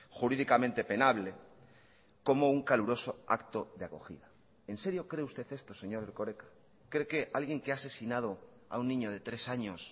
jurídicamente penable como un caluroso acto de acogida en serio cree usted esto señor erkoreka cree que alguien que ha asesinado a un niño de tres años